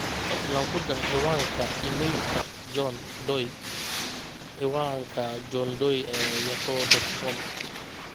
fadlan ku dar ciwaanka iimaylka john doe ciwaanka johndoe ee yahoo dot com